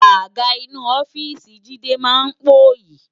Àgá inú òfìsí Jide má n póyi